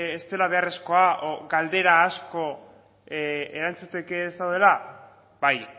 ez dela beharrezkoa o galdera asko erantzuteke ez daudela bai